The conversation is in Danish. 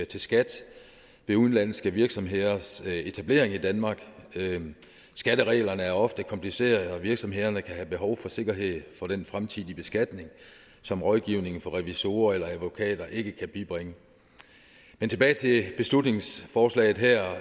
til skat ved udenlandske virksomheders etablering i danmark skattereglerne er ofte komplicerede og virksomhederne kan have et behov for sikkerhed for den fremtidige beskatning som rådgivning fra revisorer eller advokater ikke kan bibringe men tilbage til beslutningsforslaget her